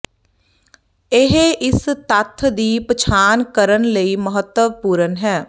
ਇਹ ਇਸ ਤੱਥ ਦੀ ਪਛਾਣ ਕਰਨ ਲਈ ਮਹੱਤਵਪੂਰਨ ਹੈ